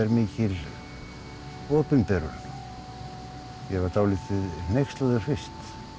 mikil opinberun ég var dálítið hneykslaður fyrst